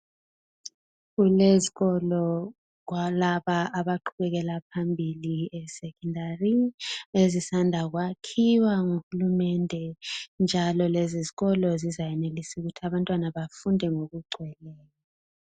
Kulezikolo kulabo abaqhubekela phambili esecondary ezisanda kwakhiwa nguhulumende njalo lezizikolo zizayenelisa ukuthi abantwana bafunde ngokugcweleyo.